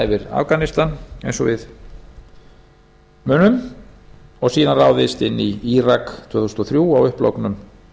yfir afganistan eins og við munum og síðan ráðist inn í írak tvö þúsund og þrjú á upplognum